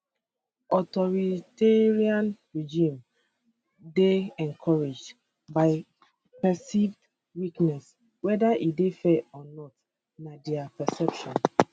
authoritarian regimes dey encouraged by perceived weakness weda e dey fair or not na dia perception